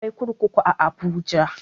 Akwai kurkuku a abuja